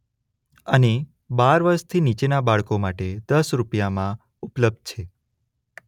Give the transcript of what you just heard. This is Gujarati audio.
અને બાર વર્ષથી નીચેના બાળકો માટે દસ રૂપિયામાં ઉપલબ્ધ છે.